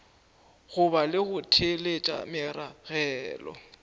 boga le go theeletša meragelo